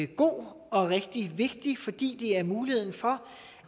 god og rigtig vigtig fordi den giver mulighed for